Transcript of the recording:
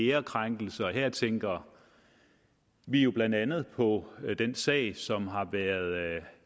ærekrænkelse her tænker vi jo blandt andet på den sag som har været